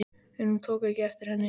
En hann tók ekki eftir henni.